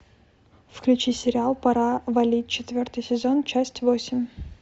включи сериал пора валить четвертый сезон часть восемь